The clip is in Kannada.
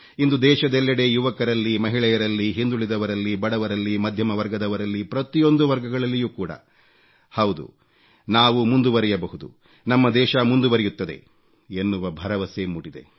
ಇಂದು ದೇಶದೆಲ್ಲೆಡೆ ಯುವಕರಲ್ಲಿ ಮಹಿಳೆಯರಲ್ಲಿ ಹಿಂದುಳಿದವರಲ್ಲಿ ಬಡವರಲ್ಲಿ ಮಧ್ಯಮ ವರ್ಗದವರಲ್ಲಿ ಪ್ರತಿಯೊಂದು ವರ್ಗಗಳಲ್ಲಿಯೂ ಕೂಡ ಹೌದು ನಾವು ಮುಂದುವರೆಯಬಹುದು ನಮ್ಮ ದೇಶ ಮುಂದುವರೆಯುತ್ತದೆ ಎನ್ನುವ ಭರವಸೆ ಮೂಡಿದೆ